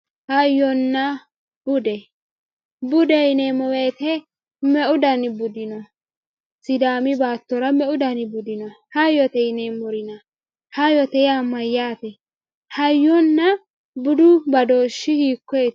hayyonna bude bude yineemo woyiite me"u dani budi no sidaami baattora me"u dani budi no hayyote yineemorina hayyote yaa mayaate hayyonna budu badooshi hiikoyeeti